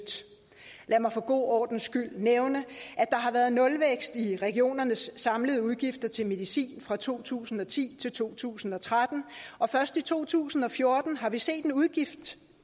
lad mig for god ordens skyld nævne at der har været nulvækst i regionernes samlede udgifter til medicin fra to tusind og ti til to tusind og tretten og først i to tusind og fjorten har vi set en udgiftsvækst